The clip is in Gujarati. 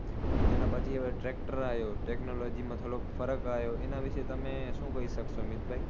તેના પછી હવે tractor આયો. technology માં થોડોક ફરક આયો. એના વિષે તમે શું કઈ શકશો મિતભાઈ?